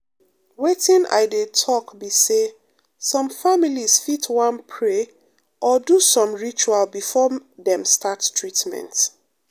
wetin i dey talk be say some families fit wan pray or do some ritual before dem start treatment.